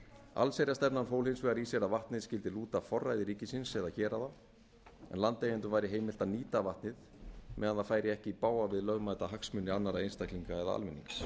allsherjarstefnan fól hins vegar í sér að vatnið skyldi lúta forræði ríkisins eða héraða en landeigendum væri heimilt að nýta vatnið meðan það færi ekki í bága við lögmæta hagsmuni annarra einstaklinga eða almennings